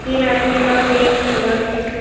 तीन आदमी का फेस ब्लर है।